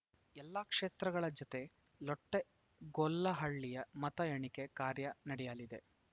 ಎಲ್ಲಾ ಕ್ಷೇತ್ರಗಳ ಜತೆ ಲೊಟ್ಟೆಗೊಲ್ಲಹಳ್ಳಿಯ ಮತ ಎಣಿಕೆ ಕಾರ್ಯ ನಡೆಯಲಿದೆ